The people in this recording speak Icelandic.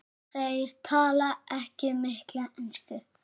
Þeir tala ekki mikla ensku.